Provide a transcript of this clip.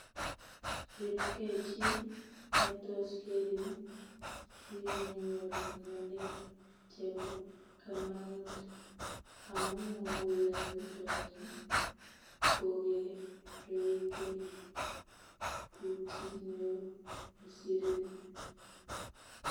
Ribkei chi netos Kerin simenyoru ngalek chebo kamanut, amu muguleldonyi kogeregei ku chi neo kosirin